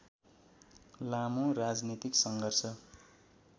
लामो राजनीतिक सङ्घर्ष